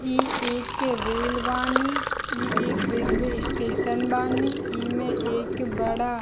इ एक रेल बानी इ एक रेलवे स्टेशन बानी इ में एक बड़ा --